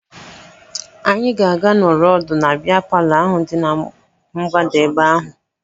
Anyị ga-aga nọrọ ọdụ na bịa palọ ahụ dị na mgbada ebe ahụ